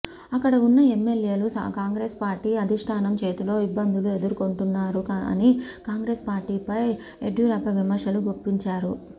అక్కడ ఉన్న ఎమ్మెల్యేలు కాంగ్రెస్ పార్టీ అధిష్టానం చేతిలో ఇబ్బందులు ఎదుర్కుంటున్నారు అని కాంగ్రెస్ పార్టీపై యడ్యూరప్ప విమర్శలు గుప్పించారు